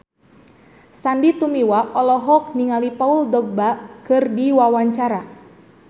Sandy Tumiwa olohok ningali Paul Dogba keur diwawancara